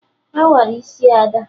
Awara isi Ada